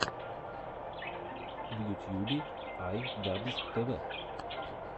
в ютьюбе ай дабз тэ вэ